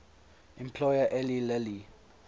employer eli lilly